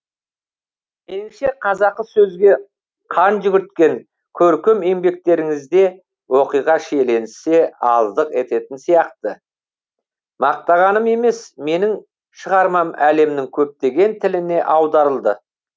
меніңше қазақы сөзге қан жүгірткен көркем еңбектеріңізде оқиға шиеленісе аздық ететін сияқты мақтанғаным емес менің шығармам әлемнің көптеген тіліне аударылды